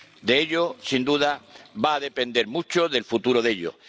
De ello, sin duda, va a depender mucho el futuro de ellos.